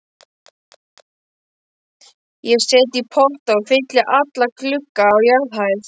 Ég set í potta og fylli alla glugga á jarðhæð.